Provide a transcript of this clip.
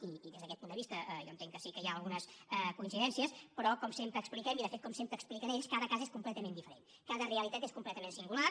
i des d’aquest punt de vista jo entenc que sí que hi ha algunes coincidències però com sempre expliquem i de fet com sempre expliquen ells cada cas és completament diferent cada realitat és completament singular